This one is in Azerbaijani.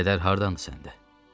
Bu kədər hardandır səndə?